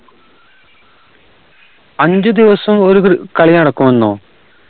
അഞ്ച്‌ ദിവസം ഒരുകൾ കളിനടക്കുമെന്നോ